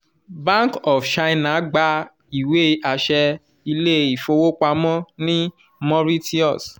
bank of china gba iwe-aṣẹ ile-ifowopamọ ni mauritius